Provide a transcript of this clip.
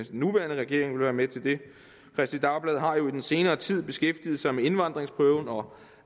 den nuværende regering vil være med til det kristeligt dagblad har jo i den senere tid beskæftiget sig med indvandringsprøven og